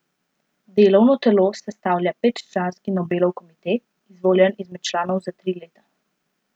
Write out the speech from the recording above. Delovno telo sestavlja petčlanski Nobelov komite, izvoljen izmed članov za tri leta.